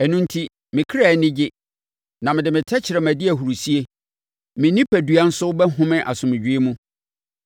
Ɛno enti, me kra ani gye, na mede me tɛkrɛma di ahurisie; me onipadua nso bɛhome asomdwoeɛ mu,